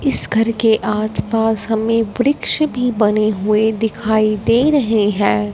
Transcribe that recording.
इस घर के आचपास हमें वृक्ष भी बने हुए दिखाई दे रहे हैं।